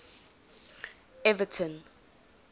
everton